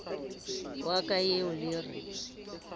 wa ka eo le re